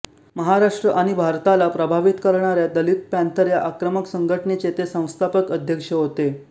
महाराष्ट्र आणि भारताला प्रभावित करणाऱ्या दलित पॅंथर या आक्रमक संघटनेचे ते संस्थापक अध्यक्ष होते